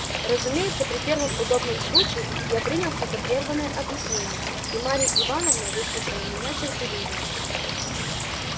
разумеется при первом удобном случае я принялся за прерванное объяснение и марья ивановна выслушала меня терпеливее